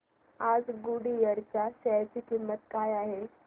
आज गुडइयर च्या शेअर ची किंमत किती आहे